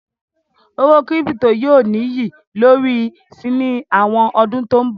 Owó kírípító yóò ní iyì lórí si ní àwọn ọdún tó ń bọ̀.